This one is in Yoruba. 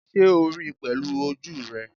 Sé o ríi pèlú ojú rè?